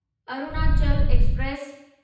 Arunachal express